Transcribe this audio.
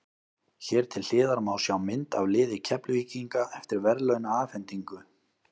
Hér til hliðar má sjá mynd af liði Keflvíkinga eftir verðlaunaafhendingu.